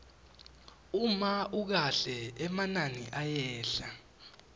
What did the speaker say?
uma ukahle emanani ayehla